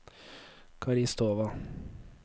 Karistova